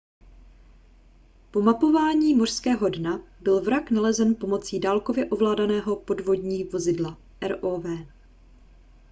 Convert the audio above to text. po mapování mořského dna byl vrak nalezen pomocí dálkově ovládaného podvodní vozidla rov